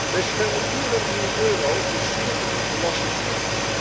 Deze 234 miljoen euro is zuur verdiend belastinggeld.